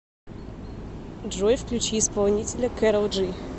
джой включи исполнителя кэрол джи